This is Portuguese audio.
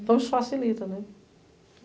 Então, isso facilita, né?